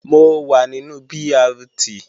Mo wà nínú BRT